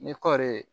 Ni kɔɔri ye